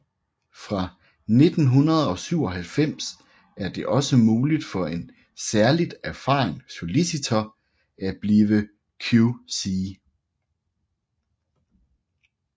Fra 1997 er det også muligt for en særligt erfaren solicitor at blive QC